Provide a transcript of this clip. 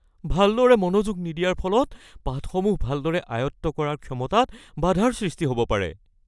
ভালদৰে মনোযোগ নিদিয়াৰ ফলত পাঠসমূহ ভালদৰে আয়ত্ত কৰাৰ ক্ষমতাত বাধাৰ সৃষ্টি হ'ব পাৰে।